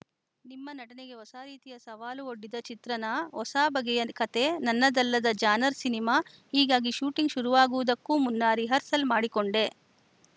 ನಿಮ್ಮ ನಟನೆಗೆ ಹೊಸ ರೀತಿಯ ಸವಾಲು ಒಡ್ಡಿದ ಚಿತ್ರನಾ ಹೊಸಬಗೆಯ ಕತೆ ನನ್ನದಲ್ಲದ ಜಾನರ್‌ ಸಿನಿಮಾ ಹೀಗಾಗಿ ಶೂಟಿಂಗ್‌ ಶುರುವಾಗುವುದಕ್ಕೂ ಮುನ್ನ ರಿಹರ್ಸಲ್‌ ಮಾಡಿಕೊಂಡೆ